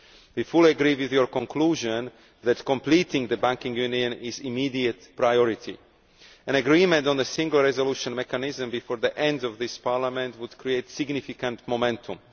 We fully agree with your conclusion that completing the banking union is an immediate priority. An agreement on the single resolution mechanism before the end of this Parliament would create significant momentum.